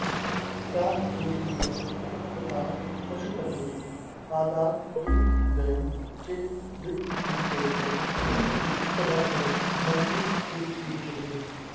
प्राप्नोतीह यथा तथा पशुपतेः पादारविन्दद्वयं चेतोवृत्तिरुपेत्य तिष्ठति सदा सा भक्तिरित्युच्यते